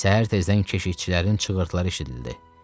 Səhər tezdən keşikçilərin çığırtıları eşidildi.